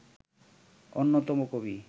অন্যতম কবি